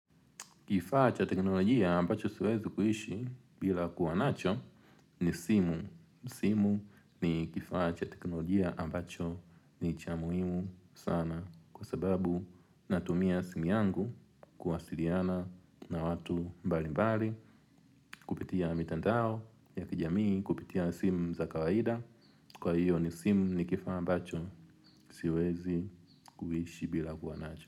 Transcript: Kifaa cha teknolojia ambacho siwezi kuishi bila kuwa nacho ni simu. Simu ni kifaa cha teknolojia ambacho ni cha muhimu sana kwa sababu natumia simu yangu kuwasiliana na watu mbalimbali kupitia mitandao ya kijamii kupitia simu za kawaida. Kwa hiyo simu ni kifaa ambacho siwezi kuishi bila kuwa nacho.